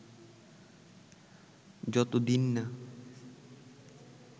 যত দিন না